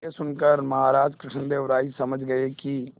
यह सुनकर महाराज कृष्णदेव राय समझ गए कि